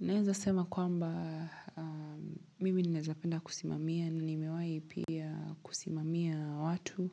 Naweza sema kwamba mimi ninawezapenda kusimamia na nimewahi pia kusimamia watu.